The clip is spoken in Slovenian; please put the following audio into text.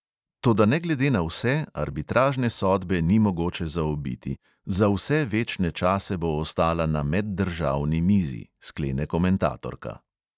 Toda ne glede na vse arbitražne sodbe ni mogoče zaobiti, za vse večne čase bo ostala na meddržavni mizi, sklene komentatorka.